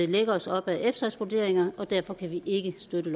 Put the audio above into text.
lægge os op ad efsas vurderinger og derfor kan vi ikke støtte